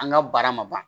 An ka baara ma ban